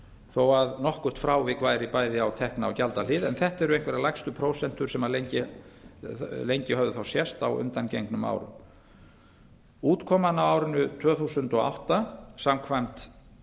þó að nokkurt frávik væri bæði á tekju og gjaldahlið en þetta eru einhverjar lægstu prósentur sem lengi höfðu þá sést á undangengnum árum útkoman á árinu tvö þúsund og átta samkvæmt